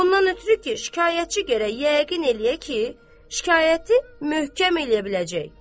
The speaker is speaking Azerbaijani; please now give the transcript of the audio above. Ondan ötrü ki, şikayətçi gərək yəqin eləyə ki, şikayəti möhkəm eləyə biləcək.